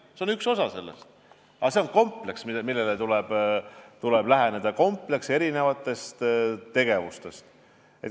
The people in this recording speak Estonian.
See on üks osa sellest, aga see on eri tegevuste kompleks.